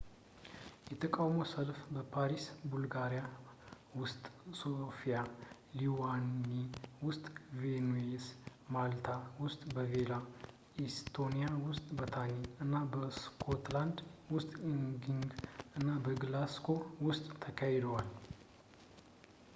የተቃውሞ ሰልፎች በፓሪስ ቡልጋሪያ ውስጥ ሶፊያ ሊቱዋኒያ ውስጥ ቪልኑይስ ማልታ ውስጥ ቫሌታ ኤስቶኒያ ውስጥ ታሊን እና ስኮትላንድ ውስጥ ኤዲንበርግ እና ግላስጎው ውስጥም ተካሂደዋል